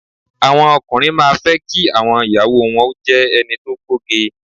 Àwọn ọkùnrin má a fẹ́ kí àwọn ìyàwó o wọn jé ẹni to gbóge